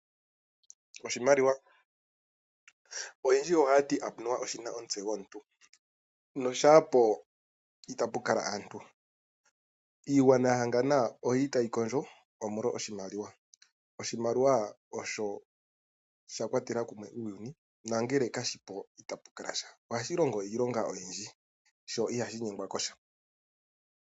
Oshimaliwa Oyendji ohaya ti anuwa oshi na omutse gomuntu. Noshaa po itapu kala aantu. Iigwanayahangana oyi li tayi kondjo, omolwa oshimaliwa. Oshimaliwa osho sha kwatela kumwe uuyuni nangele kashi po itapu kala sha. Ohashi longo iilonga oyindji, sho ihashi nyengwa ko sha.